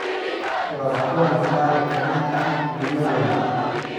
Waa kuwan qaar ka mid ah muhimadooda: